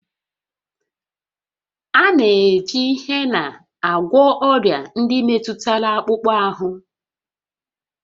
A na-eji hena agwọ ọrịa ndị metụtara akpụkpọ ahụ